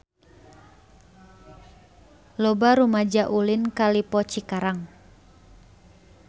Loba rumaja ulin ka Lippo Cikarang